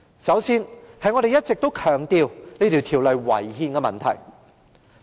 首先，我們一直強調《條例草案》違憲的問題。